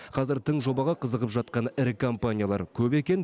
қазір тың жобаға қызығып жатқан ірі компаниялар көп екен